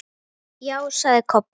Já, sagði Kobbi.